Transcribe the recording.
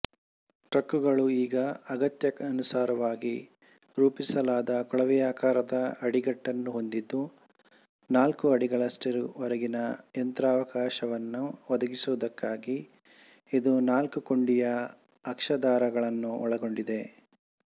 ಟ್ರಕ್ಕುಗಳು ಈಗ ಅಗತ್ಯಾನುಸಾರ ರೂಪಿಸಲಾದ ಕೊಳವೆಯಾಕಾರದ ಅಡಿಗಟ್ಟನ್ನು ಹೊಂದಿದ್ದು ನಾಲ್ಕು ಅಡಿಗಳಷ್ಟರವರೆಗಿನ ಯಂತ್ರಾವಕಾಶವನ್ನು ಒದಗಿಸುವುದಕ್ಕಾಗಿ ಇದು ನಾಲ್ಕುಕೊಂಡಿಯ ಅಕ್ಷಾಧಾರಗಳನ್ನು ಒಳಗೊಂಡಿದೆ